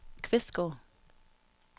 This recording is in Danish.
Kvistgård